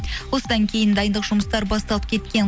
осыдан кейін дайындық жұмыстары басталып кеткен